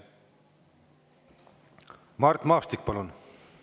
Mart Maastik, palun!